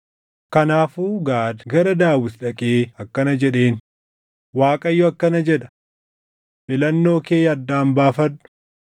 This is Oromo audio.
Kanaafuu Gaad gara Daawit dhaqee akkana jedheen; “ Waaqayyo akkana jedha: ‘Filannoo kee addaan baafadhu: